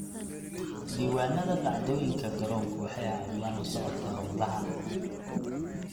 Diiwaanada dhacdooyinka garoonku waxay caawiyaan la socodka hawlaha.